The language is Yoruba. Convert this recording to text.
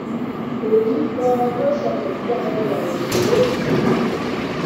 èyí ganan ló ṣẹlẹ sí arẹwà òṣèré yìí